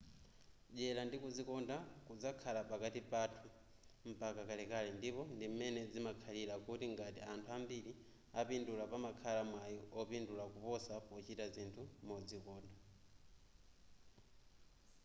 dyera ndi kuzikonda kudzakhala pakati panthu mpaka kalekale ndipo ndim'mene zimakhalira kuti ngati anthu ambiri apindula pamakhala mwai opindula koposa pochita zinthu modzikonda